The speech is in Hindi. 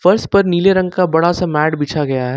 फर्श पर नीले रंग का बड़ा सा मैट बिछा गया है।